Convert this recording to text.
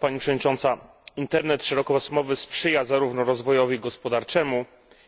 Pani Przewodnicząca! Internet szerokopasmowy sprzyja zarówno rozwojowi gospodarczemu